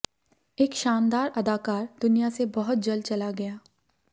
एक शानदार अदाकार दुनिया से बहुत जल्द चला गया